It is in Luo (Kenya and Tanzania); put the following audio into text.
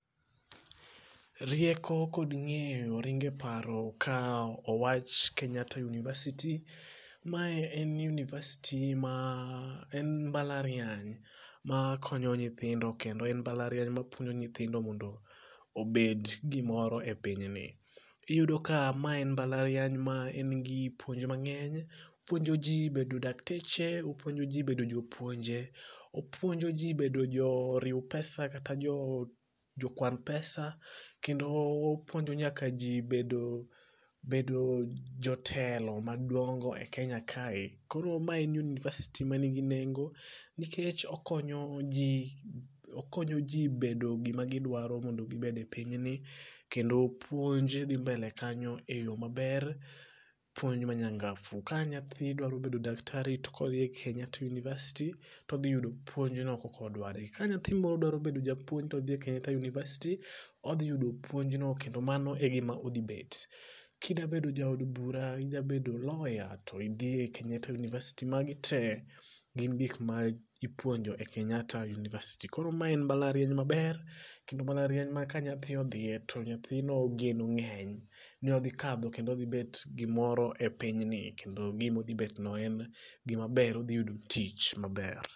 Rieko kod ng'eyo, ringo e paro ka owach kenyatta University. Mae en University ma en mbalariany ma konyo nyithindo kendo en mbalariany mapuonjo nyithindo mondo obed gimoro e pinyni. Iyudo ka ma en mbalariany ma engi puonj mang'eny; opuonjo jii bedo dakteche, opuonjo jii bedo jopuonje , opuonjo jii bedo joriw pesa kata jokwan pesa kendo opuonjo nyaka jii bedo bedo jotelo madongo e kenya kae, koro mae en university ma nigi nengo, nikech okonyo jii bedo gimagidwaro mondo gibed e pinyni, kendo puonj dhii mbele kanyo e yoo maber, puonj manyangafu, ka nyathi dwaro bedo daktari to kodhii e kenyatta university to odhiyudo puonjno kaka odware, ka nyathi dwaro bedo japuonj to odhii e kenyatta University odhiyudo puonjno kendo mano e gima odhibet. Kida bet ja od bura idwabedo lawyer to idhii e kenyatta university magi tee gin gikma ipuonjo e Kenyatta University, koro mae en mbalariany maber kendo mbalariany ma ka nyathi odhie to nyathino geno ng'eny ni odhikadho kendo odhibet gimoro e pinyni kendo gima odhibetno en gimaber odhiyudo tich maber.